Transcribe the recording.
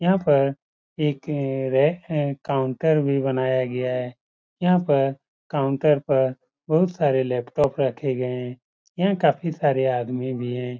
यहाँ पर एक रै काउंटर भी बनाया गया है। यहाँ पर काउंटर पर बोहोत सारे लैपटॉप रखे गये है। यहाँ काफी सारे आदमी भी हैं।